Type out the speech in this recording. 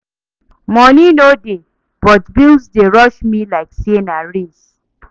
Money no dey, but bills dey rush me like say na race.